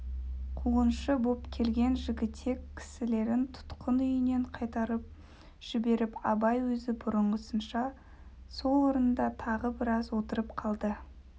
қуғыншы боп келген жігітек кісілерін тұтқын үйінен қайтарып жіберіп абай өзі бұрынғысынша сол орнында тағы біраз отырып қалды